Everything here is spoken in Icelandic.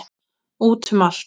Út um allt.